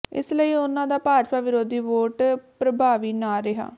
ਇਸ ਲਈ ਉਨ੍ਹਾਂ ਦਾ ਭਾਜਪਾ ਵਿਰੋਧੀ ਵੋਟ ਪ੍ਰਭਾਵੀ ਨਾ ਰਿਹਾ